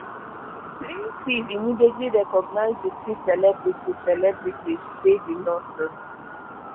plaintiff immediately recognize all three celebrities celebrities say di lawsuit